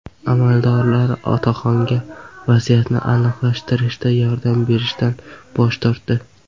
Amaldorlar otaxonga vaziyatni aniqlashtirishda yordam berishdan bosh tortdi.